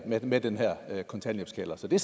med med den her kontanthjælpskælder så det